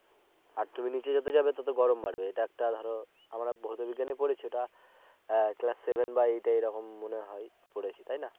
আর তুমি নিচে যত যাবে তত গরম বাড়বে এটা একটা ধরো আমরা ভৌত বিজ্ঞানে পড়েছি এটা ক্লাস Seven বা eight এই রকম মনে হয় পড়েছি তাই না